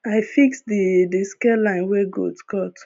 i fix the the scare line wey goats cut